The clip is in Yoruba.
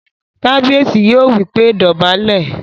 Kábíyèsí yóò wí pé "dọ̀bálẹ̀!"